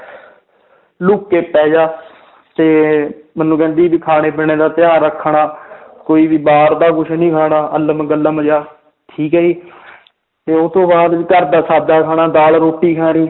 look ਕੇ ਪੈ ਜਾ ਤੇ ਮੈਨੂੰ ਕਹਿੰਦੀ ਵੀ ਖਾਣੇ ਪੀਣੇ ਦਾ ਧਿਆਨ ਰੱਖ ਖਾਣਾ ਕੋਈ ਵੀ ਬਾਹਰ ਦਾ ਕੁਛ ਨੀ ਖਾਣਾ ਅਲਮ ਗਲਮ ਜਿਹਾ ਠੀਕ ਹੈ ਜੀ ਤੇ ਉਹ ਤੋਂ ਬਾਅਦ ਘਰਦਾ ਸਾਦਾ ਖਾਣਾ ਦਾਲ ਰੋਟੀ ਖਾਣੀ